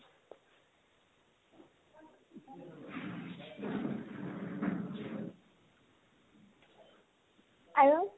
আৰু